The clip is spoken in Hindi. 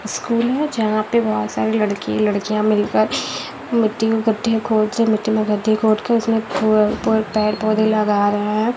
स्कूल है जहाँं पे बहुत सारे लड़के या लड़कियाँं मिल कर मिट्टी में खढ्ढे खोद मिट्टी में खढ्ढे खोद के उसमें पे-पेड़-पौधें लगा रहे हैं।